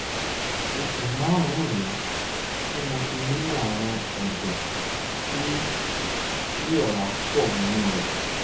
oṣù um márùn-ún rèé tí mo ti ní ààrùn ẹ̀dọ̀ tí tí ọ̀rá pọ̀ nínú rẹ̀